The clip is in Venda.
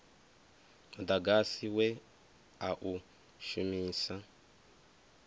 mudagasi we a u shumisa